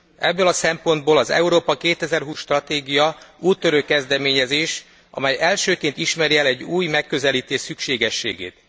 Ebből a szempontból az Európa 2020 stratégia úttörő kezdeményezés, amely elsőként ismeri el egy új megközelítés szükségességét.